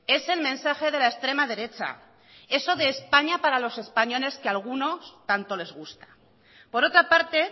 es el mensaje de la extrema derecha eso de españa para los españoles que a algunos tanto les gusta por otra parte